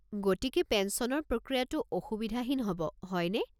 গতিকে, পেঞ্চনৰ প্ৰক্ৰিয়াটো অসুবিধাহীন হ'ব, হয়নে?